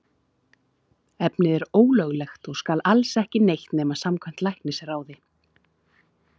Efnið er ólöglegt og skal alls ekki neytt nema samkvæmt læknisráði.